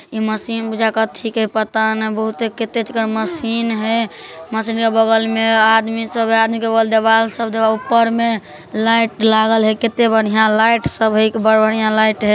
ऐ मशीन कथि के पता न बहुते मशीन है मशीन के बगल मे आदमी सब है आदमी के बगल में ऊपर मे लाइट लागल है कितने बढ़िया लाइट सब है लाइट है।